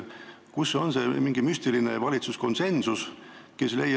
Kus ikkagi on see mingi müstiline valitsuskonsensus?